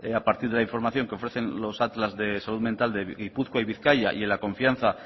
a partir de la información que ofrecen los atlas de salud mental de gipuzkoa y bizkaia y en la confianza